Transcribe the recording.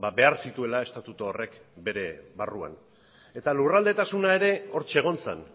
behar zituela estatutu horrek bere barruak eta lurraldetasuna ere hortxe egon zen